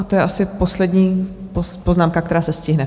A to je asi poslední poznámka, která se stihne.